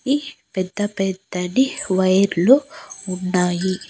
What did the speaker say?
ఈ పెద్ద పెద్దటి వైర్లు ఉన్నాయి.